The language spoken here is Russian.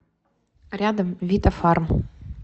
рядом витафарм